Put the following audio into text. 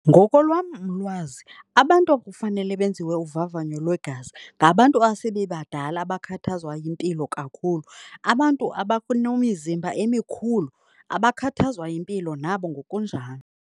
Ngokolwam ulwazi abantu ekufanele benziwe uvavanyo lwegazi ngabantu asebebadala abakhathazwa yimpilo kakhulu. Abantu nemizimba emikhulu, abakhathazwa yimpilo nabo ngokunjalo.